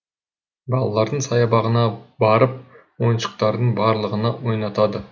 балалардың саябағына барып ойыншықтардың барлығына ойнатады